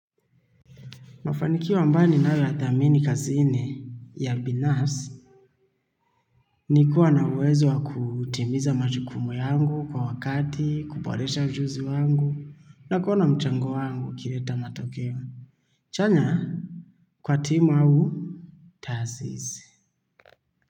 Mafanikio ambayo ninayo ya thamini kazini ya binas ni kuwa na uwezo wa kutimiza majukumu yangu kwa wakati, kuboresha ujuzi wangu na kuona mchango wangu ukileta matokeo. Chanya kwa timu au taasisi.